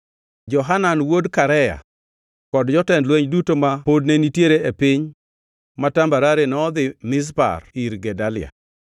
Johanan wuod Karea kod jotend lweny duto ma pod ne nitiere e piny ma tambarare nodhi Mizpa ir Gedalia